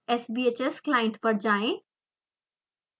sbhs client पर जाएँ